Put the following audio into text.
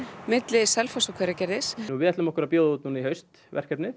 milli Selfoss og Hveragerðis við ætlum okkur að bjóða núna út í haust verkefnið